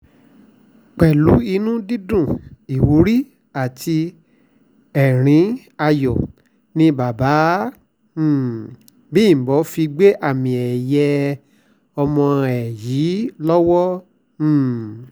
pẹ̀lú inú dídùn ìwúrí àti ẹ̀rín ayọ̀ ni baba um bímbọ fi gbé àmì-ẹ̀yẹ ọmọ ẹ̀ yìí lọ́wọ́ um